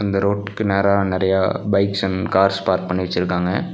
இந்த ரோட்டுக்கு நேரா நறையா பைக்ஸ் அண்ட் கார்ஸ் பார்க் பண்ணி வெச்சிருக்காங்க.